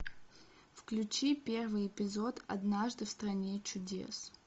включи первый эпизод однажды в стране чудес